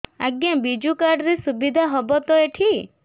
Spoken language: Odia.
ଆଜ୍ଞା ବିଜୁ କାର୍ଡ ସୁବିଧା ହବ ତ ଏଠି